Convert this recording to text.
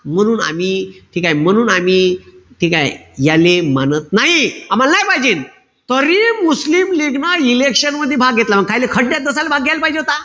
म्हणून आम्ही ठीकेय? म्हणून आम्ही ठीकेय? याले मानत नाई. आम्हाल नाई पायजेल. तरी मुस्लिम लीगन election मधी भाग घेतला नव्हता. त्याईले खड्ड्यात कशाले भाग घ्यायल पाईजे होता.